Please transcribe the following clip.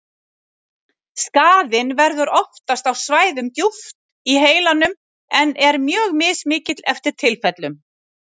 Skaðinn verður oftast á svæðum djúpt í heilanum en er mjög mismikill eftir tilfellum.